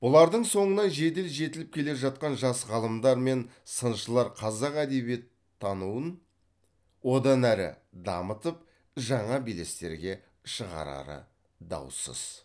бұлардың соңынан жедел жетіліп келе жатқан жас ғалымдар мен сыншылар қазақ әдебиеттануын одан әрі дамытып жаңа белестерге шығарары даусыз